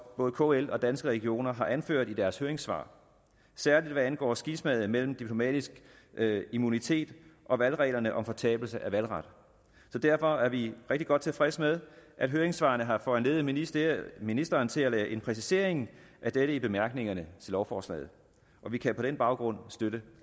både kl og danske regioner har anført i deres høringssvar især hvad angår skismaet mellem diplomatisk immunitet og valgreglerne om fortabelse af valgret derfor er vi rigtig godt tilfredse med at høringssvarene har foranlediget ministeren ministeren til at lave en præcisering af dette i bemærkningerne til lovforslaget vi kan på den baggrund støtte